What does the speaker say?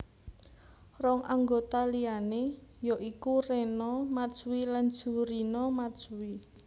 Rong anggota liané ya iku Rena Matsui lan Jurina Matsui